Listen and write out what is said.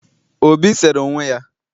obi sere onwe ya